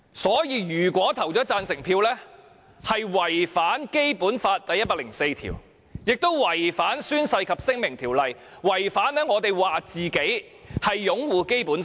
所以，如果我們投下贊成票，便是違反《基本法》第一百零四條，亦違反了《宣誓及聲明條例》，違反了自己聲稱所擁護的《基本法》。